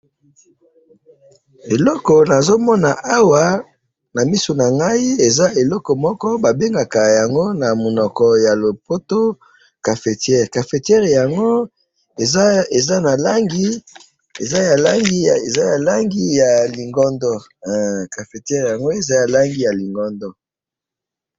Eloko nazo mona awa na misu na ngai eza eloko moko babengaka yango na munoko ya lopoto ,cafetiere, cafetiere yango eza ya langi ya lingondo. cafetiere yango eza na langi ya lingondo